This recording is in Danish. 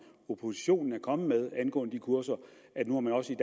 oppositionen er kommet med angående de kurser nu også i